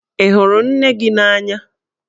Ị hụrụ nne gị n'anya?